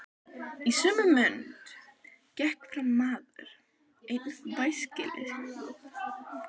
Í sömu mund gekk fram maður einn væskilslegur.